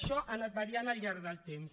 això ha anat variant al llarg del temps